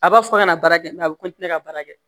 A b'a fɔ a kana baara kɛ a bɛ ka baara kɛ